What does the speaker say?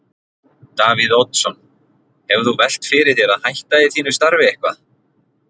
Davíð Oddsson: Hefur þú velt fyrir þér að hætta í þínu starfi eitthvað?